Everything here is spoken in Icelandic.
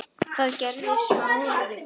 Það gerði Smári.